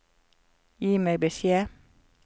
Gi meg beskjed